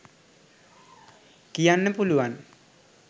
කියන්න පුළුවන්.